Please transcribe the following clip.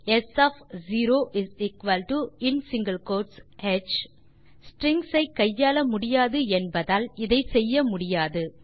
ஸ் of 0in single quotes ஹ் மூன்றாம் option ஸ்ட்ரிங்ஸ் ஐ கையாள முடியாது என்பதால் இதை செய்ய முடியாது